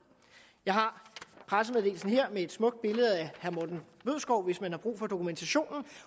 jeg har pressemeddelelsen her med et smukt billede af herre morten bødskov hvis man har brug for dokumentationen